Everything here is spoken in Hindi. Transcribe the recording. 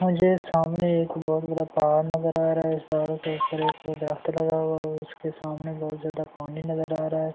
मुझे सामने एक बहुत बड़ा पहाड़ नजर आ रहा है पहाड़ के ऊपर एक दरख्त लगा हुआ है उसके सामने बहुत ज्यादा पानी नजर आ रहा है।